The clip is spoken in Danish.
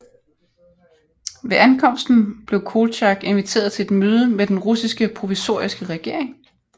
Ved ankomsten blev Koltjak inviteret til et møde med Den russiske provisoriske regering